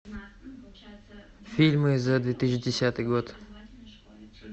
фильмы за две тысячи десятый год